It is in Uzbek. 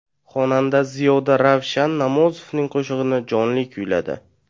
Xonanda Ziyoda Ravshan Namozovning qo‘shig‘ini jonli kuyladi.